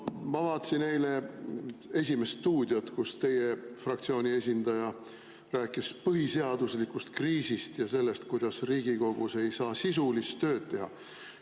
No ma vaatasin eile "Esimest stuudiot", kus teie fraktsiooni esindaja rääkis põhiseaduslikust kriisist ja sellest, kuidas Riigikogus ei saa sisulist tööd teha.